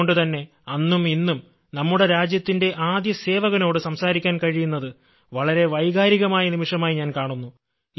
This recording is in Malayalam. അതുകൊണ്ട് തന്നെ അന്നും ഇന്നും നമ്മുടെ രാജ്യത്തിന്റെ ആദ്യ സേവകനോട് സംസാരിക്കാൻ കഴിയുന്നത് വളരെ വൈകാരികമായ നിമിഷമായി ഞാൻ കാണുന്നു